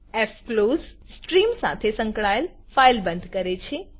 ફ્ક્લોઝ stream સાથે સંકળાયેલ file બંધ કરે છે